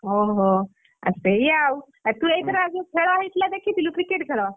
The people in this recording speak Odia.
ଓହୋ ଆ ସେୟା ଆଉ ତୁ ଏଇଥର ଆଉଯୋଉ ଖେଳ ହେଇଥିଲା ଦେଖିଥିଲୁ cricket ଖେଳ?